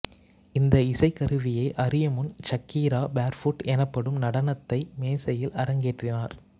இந்த இசைக்கருவியை அறியும் முன் ஷக்கீரா பேர்ஃபுட் எனப்படும் நடனத்தை மேசையில் அரங்கேற்றினார்